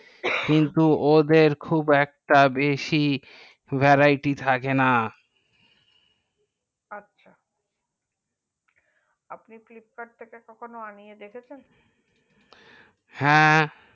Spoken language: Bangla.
কিন্তু ওদের খুব একটা বেশি vareity থাকে না আচ্ছা আপনি কখনো flipkart থেকে কখনো আনিয়ে দেখেছেন হ্যাঁ